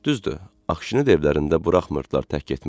Düzdür, Aqşini də evlərində buraxmırdılar tək getməyə.